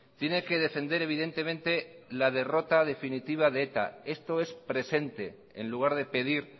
tiene que defender evidentemente la derrota definitiva de eta esto es presente en lugar de pedir